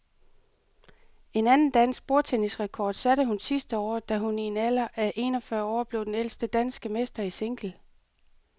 En anden dansk bordtennisrekord satte hun sidste år, da hun i en alder af en og fyrre år blev den ældste danske mester i single.